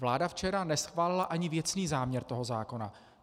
Vláda včera neschválila ani věcný záměr tohoto zákona.